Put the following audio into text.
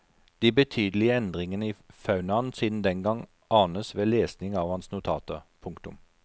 De betydelige endringene i faunaen siden den gang anes ved lesning av hans notater. punktum